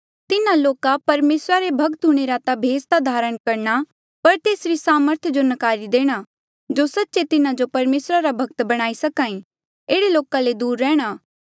तिन्हा लोका परमेसरा रे भक्त हूंणे रा भेस ता धरणा पर तेसरी सामर्थ जो नकारी देणी जो सच्चे तिन्हा जो परमेसरा रा भक्त बणाई सकी एह्ड़े लोका ले दूर रैंह्णां